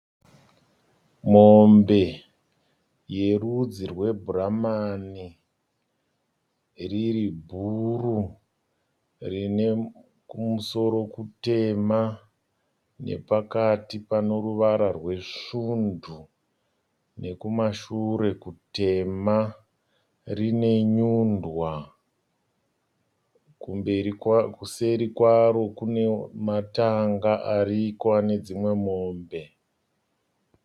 Mombe yerudzi rwe bhuramani riri bhuru rine kumusoro kutema nepakati pane ruvara rwesvundu nekumashure kutema. Rine nyundwa. Kuseri kwaro kune matanga ariko ane dzimwe mombe.